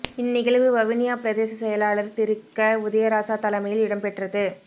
இந் நிகழ்வு வவுனியா பிரதேச செயலாளர் திரு க உதயராசா தலைமையில் இடம்பெற்றது